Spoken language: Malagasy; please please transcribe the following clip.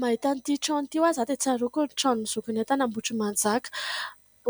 Mahita an'ity trano ity hoy aho za dia tsaroako ny tranon'i Zokinay tany Ambohitrimanjaka.